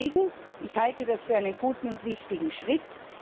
Deswegen halte ich dies für einen guten und wichtigen Schritt.